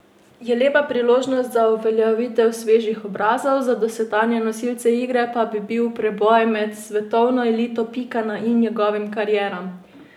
Je lepa priložnost za uveljavljanje svežih obrazov, za dosedanje nosilce igre pa bi bil preboj med svetovno elito pika na i njihovim karieram.